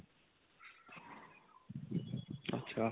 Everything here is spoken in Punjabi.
ਅੱਛਾ